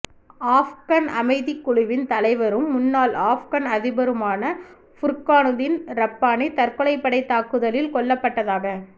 ஆஃப்கன் அமைதிக் குழுவின் தலைவரும் முன்னாள் ஆஃப்கன் அதிபருமான ஃபுர்கானுதீன் ரப்பானி தற்கொலைப்படை தாக்குதலில் கொல்லப்பட்டதாக